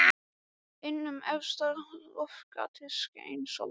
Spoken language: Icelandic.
Inn um efsta loftgatið skein sólin.